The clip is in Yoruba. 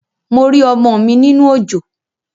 Mo rí ọmọ mi nínú òjò